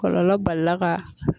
Kɔlɔlɔ balila ka